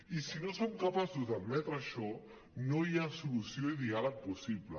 i si no som capaços d’admetre això no hi ha solució i diàleg possible